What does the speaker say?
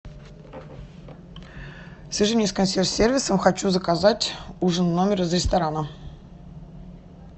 свяжи меня с консьерж сервисом хочу заказать ужин в номер из ресторана